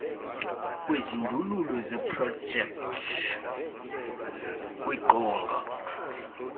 kwezindululo zeprojekthi kwiqonga